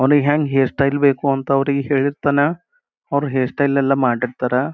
ನೋಡಿ ಹೆಂಗ್ hair style ಬೇಕು ಅಂತ ಅವ್ರಿಗೆ ಹೇಳಿರ್ತಾನಾ ಅವ್ರು ಹೇರ್ ಸ್ಟೈಲ್ ಎಲ್ಲ ಮಾಡಿರ್ತರ.